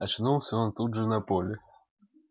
очнулся он тут же на поле